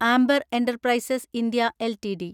amber Enterprises India LTD